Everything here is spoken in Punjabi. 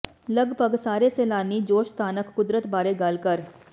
ਲਗਭਗ ਸਾਰੇ ਸੈਲਾਨੀ ਜੋਸ਼ ਸਥਾਨਕ ਕੁਦਰਤ ਬਾਰੇ ਗੱਲ ਕਰ